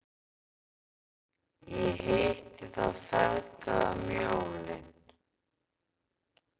Ég hitti þá feðga um jólin.